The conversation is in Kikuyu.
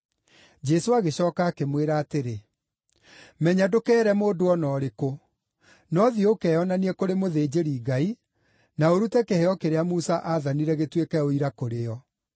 Jesũ agĩcooka akĩmwĩra atĩrĩ, “Menya ndũkeere mũndũ o na ũrĩkũ. No thiĩ ũkeyonanie kũrĩ mũthĩnjĩri-Ngai, na ũrute kĩheo kĩrĩa Musa aathanire gĩtuĩke ũira kũrĩ o.”